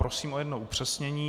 Prosím o jedno upřesnění.